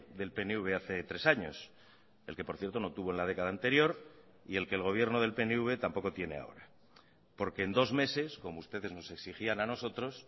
del pnv hace tres años el que por cierto no tuvo en la década anterior y el que el gobierno del pnv tampoco tiene ahora porque en dos meses como ustedes nos exigían a nosotros